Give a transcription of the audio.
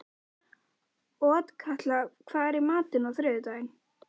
Otkatla, hvað er í matinn á þriðjudaginn?